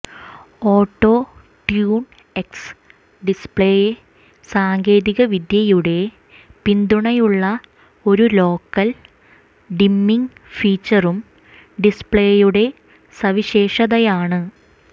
auto tune X display സാങ്കേതികവിദ്യയുടെ പിന്തുണയുള്ള ഒരു ലോക്കൽ ഡിമ്മിങ് ഫീച്ചറും ഡിസ്പ്ലേയുടെ സവിശേഷതയാണ്